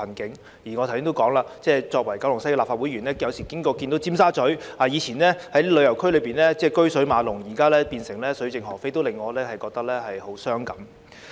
正如我剛才提到，我是九龍西的立法會議員，我有時路經尖沙咀，看到過往車水馬龍的這個旅遊區現變得水盡鵝飛，令我萬分傷感。